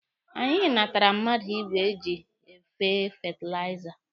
Anyị natara mmadụ igwe eji efe fetilaiza